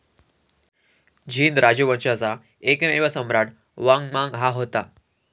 झीन राजवंशाचा एकमेव सम्राट वांग मांग हा होता.